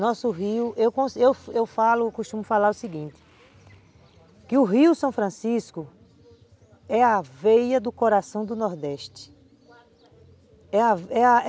Nosso rio, eu eu falo, costumo falar o seguinte, que o rio São Francisco é a veia do coração do Nordeste. É a é a